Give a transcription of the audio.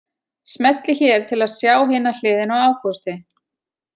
Smellið hér til að sjá hina hliðina á Ágústi